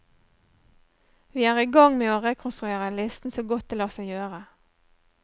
Vi er i gang med å rekonstruere listen så godt det lar seg gjøre.